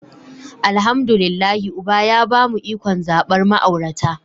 Alhamdu lillahi uba ya bamu ikon zabar ma'aurata.